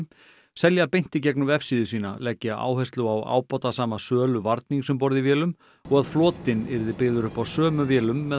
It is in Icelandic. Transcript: selja beint í gegnum vefsíðu sína leggja áherslu á ábatasama sölu varnings um borð í vélum og að flotinn yrði byggður upp á sömu vélum með